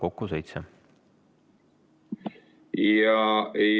Kokku seitse minutit.